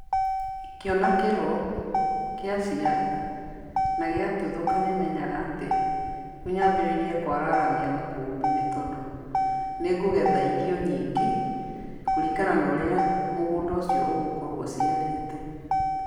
Ingĩona kĩro, kĩaciara, na gĩatuthũka nĩ menyaga atĩ, rĩu nyambĩrĩrie kũararamia makũmbĩ nĩ tondũ, nĩngũgetha irio nyingĩ, kũringana na ũrĩa mũgũnda ũcio ũgũkorwo ũciarĩte.